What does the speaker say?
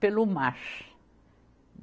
pelo mar.